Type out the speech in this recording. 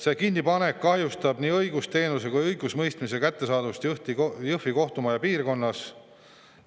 See kinnipanek kahjustab nii õigusteenuse kui ka õigusemõistmise kättesaadavust Jõhvi kohtumaja piirkonnas.